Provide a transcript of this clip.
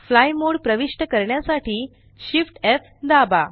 fly mode प्रविष्ट करण्यासाठी Shift F दाबा